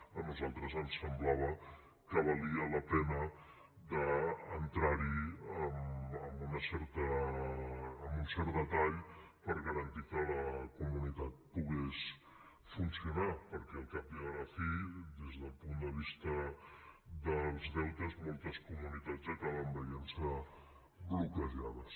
a nosaltres ens semblava que valia la pena d’entrar hi amb un cert detall per garantir que la comunitat pogués funcionar perquè al cap i a la fi des del punt de vista dels deutes moltes comunitats acaben veient se bloquejades